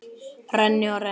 Renni og renni.